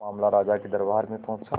मामला राजा के दरबार में पहुंचा